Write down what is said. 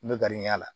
N bɛ gariya la